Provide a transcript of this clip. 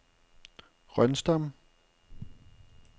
Rønsdam